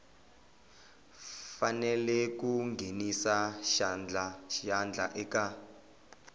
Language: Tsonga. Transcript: fanele ku nghenisa xandla eka